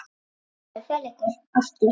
Þið megið fela ykkur aftur.